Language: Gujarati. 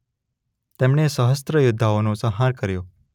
તેમણે સહસ્ત્રો યોદ્ધાઓનો સંહાર કર્યો.